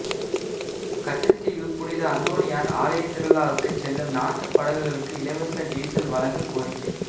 கச்சத்தீவு புனித அந்தோணியாா் ஆலய திருவிழாவுக்கு செல்லும் நாட்டுப்படகுகளுக்கு இலவச டீசல் வழங்க கோரிக்கை